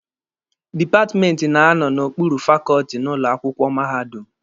Dipatmenti na-anọ n'okpuru fakọọtị n'ụlọ akwụkwọ mahadum.